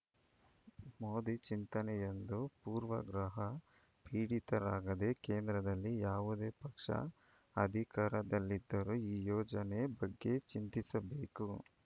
ಮೋದಿ ಚಿಂತನೆಯೆಂದು ಪೂರ್ವಾಗ್ರಹ ಪೀಡಿತರಾಗದೆ ಕೇಂದ್ರದಲ್ಲಿ ಯಾವುದೇ ಪಕ್ಷ ಅಧಿಕಾರದಲ್ಲಿದ್ದರೂ ಈ ಯೋಜನೆ ಬಗ್ಗೆ ಚಿಂತಿಸಬೇಕು